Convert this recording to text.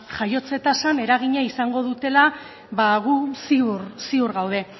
jaiotze tasan eragina izango dutela ba gu ziur gaude